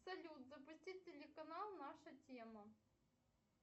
салют запусти телеканал наша тема